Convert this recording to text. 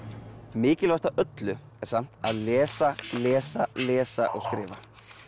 mikilvægast af öllu er samt að lesa lesa lesa og skrifa